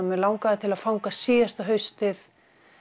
mig langaði til að fanga síðasta haustið